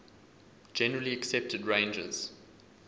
generally accepted ranges